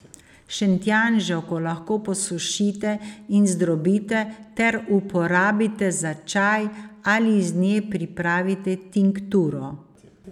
Šentjanževko lahko posušite in zdrobite ter uporabite za čaj ali iz nje pripravite tinkturo.